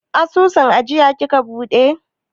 Asusun ajiya kika buɗe?